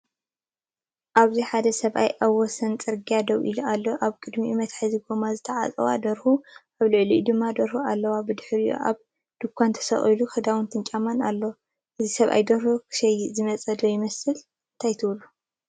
ኣብዚ ሓደ ሰብኣይ ኣብ ወሰን ጽርግያ ደው ኢሉ ኣሎ። ኣብ ቅድሚኡ መትሓዚ ጎማ ዝተዓጽዋ ደርሁ፡ ኣብ ልዕሊኡ ድማ ደርሆ ደው ኢሉ። ብድሕሪኡ ኣብ ድኳን ተሰቒሉ ክዳውንትንጫማን ኣሎ። እዚ ሰብኣይ ደርሆ ክሸይጥ ዝመጸ ዶ ይመስል፡ እንታይ ትብሉ?